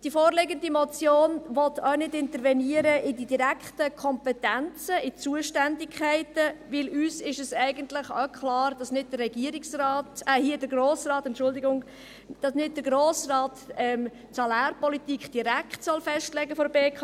Die vorliegende Motion will auch nicht intervenieren in die direkten Kompetenzen, in die Zuständigkeiten, weil uns eigentlich auch klar ist, dass nicht der Regierungsrat – hier der Grosse Rat, Entschuldigung –, dass nicht der Grosse Rat die Salärpolitik der BKW direkt festlegen soll.